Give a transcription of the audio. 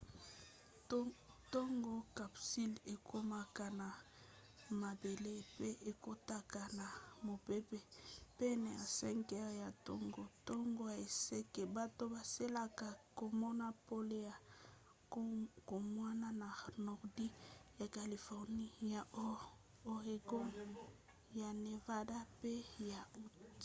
ntango capsule ekomaka na mabele pe ekotaka na mopepe pene ya 5 heures ya ntongo ntango ya este bato bazelaka komona pole ya kokamwa na nordi ya californie ya oregon ya nevada pe ya utah